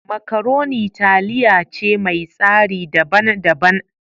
Makaroni taliya ce mai tsari daban daban.